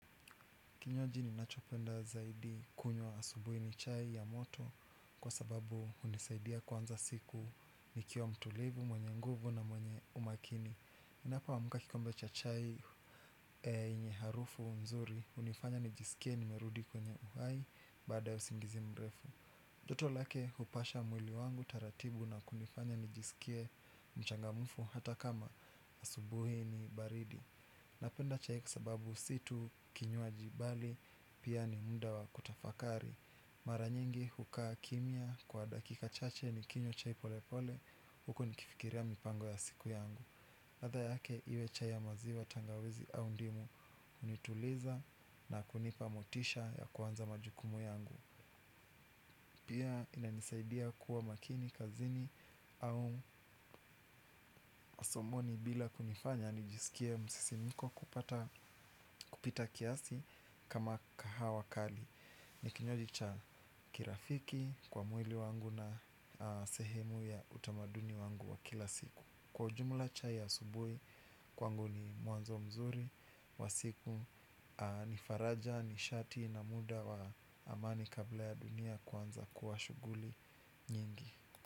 Kinywaji ninachopenda zaidi kunywa asubuhi ni chai ya moto kwa sababu unisaidia kuanza siku nikiwa mtulivu, mwenye nguvu na mwenye umakini. Ninapo amuka kikombe cha chai enye harufu mzuri unifanya nijisikie nimerudi kwenye uhai baada ya usingizi mrefu. Doto lake hupasha mwili wangu taratibu na kunifanya nijisikie mchangamfu hata kama asubuhi ni baridi. Napenda chai kwa sababu si tu kinywaji bali pia ni muda wa kutafakari. Mara nyingi hukaa kimya kwa dakika chache ni kinywa chai pole pole huku nikifikiria mipango ya siku yangu ladha yake iwe chai ya maziwa tangawizi au ndimu unituliza na kunipa motisha ya kuanza majukumu yangu. Pia inanisaidia kuwa makini kazini au masomoni bila kunifanya nijisikie msisimko kupata kupita kiasi kama kahawa kali. Nikinywaji cha kirafiki kwa mwili wangu na sehemu ya utamaduni wangu wa kila siku. Kwa ujumla chai ya asubui kwangu ni mwanzo mzuri wa siku ni faraja nishati na muda wa amani kabla ya dunia kuanza kuwa shuguli nyingi.